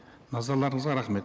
назарларыңызға рахмет